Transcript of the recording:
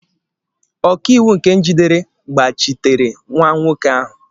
Ọkaiwu nke jidere gbachitere nwa nwoke ahụ.